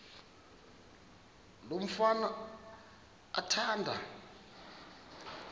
lo mfana athanda